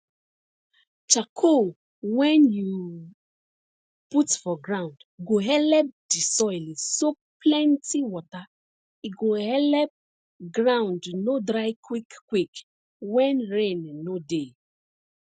charcoal wen you put for ground go helep di soil soak plenti wata e go helep ground no dry quick quick wen rain no dey